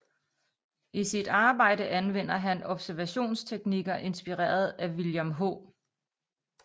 I sit arbejde anvender han observationsteknikker inspireret af William H